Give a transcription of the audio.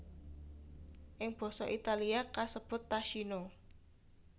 Ing basa Italia kasebut tacchino